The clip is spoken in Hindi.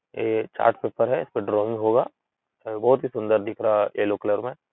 ए चार्ट पेपर है। इसपे ड्राइंग होगा और बहोत ही सुन्दर दिख रहा है एलो कलर में --